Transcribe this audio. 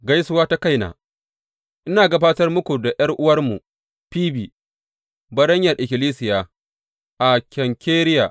Gaisuwa ta kaina Ina gabatar muku da ’yar’uwarmu Fibi, baranyar ikkilisiya a Kenkireya.